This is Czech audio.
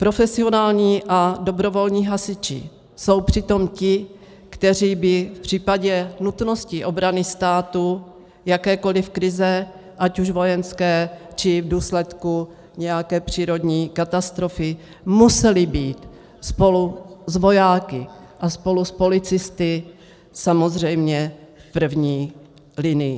Profesionální a dobrovolní hasiči jsou přitom ti, kteří by v případě nutnosti obrany státu, jakékoliv krize, ať už vojenské, či v důsledku nějaké přírodní katastrofy, museli být spolu s vojáky a spolu s policisty samozřejmě v první linii.